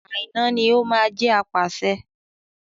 Àíná ní o máa jẹ́ apàṣẹ.